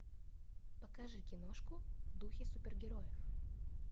покажи киношку в духе супергероев